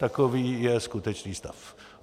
Takový je skutečný stav.